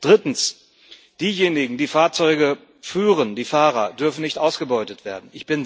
Drittens Diejenigen, die Fahrzeuge führen, die Fahrer, dürfen nicht ausgebeutet werden.